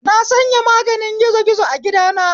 Na sanya maganin gizi gizo a gidana